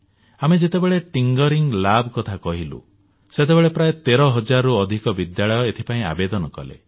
ଆମେ ଯେତେବେଳେ thinking lab କଥା କହିଲୁ ସେତେବେଳେ ପ୍ରାୟ 13 ହଜାରରୁ ଅଧିକ ବିଦ୍ୟାଳୟ ଏଥିପାଇଁ ଆବେଦନ କଲେ